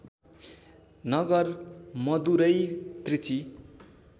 Nagar Madurai Trichy